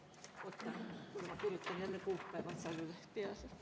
Oota, ma kirjutan selle kuupäeva …